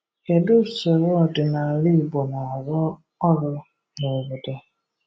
Kedụ usoro ọdịnaala Igbo na-arụ ọrụ na obodo?